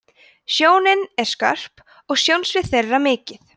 sjónin er skörp og sjónsvið þeirra mikið